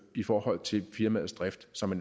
i forhold til firmaets drift som